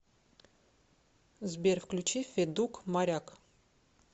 сбер включи федук моряк